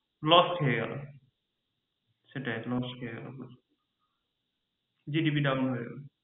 loss খেয়ে গেলো সেটাই loss খেয়ে গেলো GDP down হয়ে গেলো।